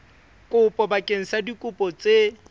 kopo bakeng sa dikopo tse